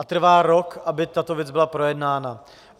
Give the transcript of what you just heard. A trvá rok, aby tato věc byla projednána.